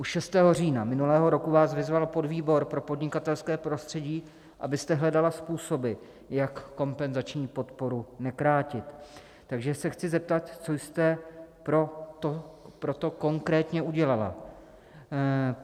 Už 6. října minulého roku vás vyzval podvýbor pro podnikatelské prostředí, abyste hledala způsoby, jak kompenzační podporu nekrátit, takže se chci zeptat, co jste pro to konkrétně udělala?